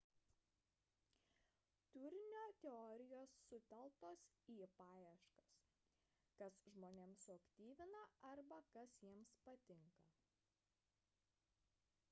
turinio teorijos sutelktos į paieškas kas žmones suaktyvina arba kas jiems patinka